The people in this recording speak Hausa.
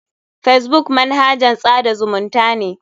Facebook manahajn tsada zumunta ne.